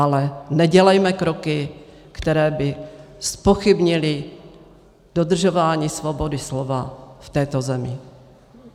Ale nedělejme kroky, které by zpochybnily dodržování svobody slova v této zemi.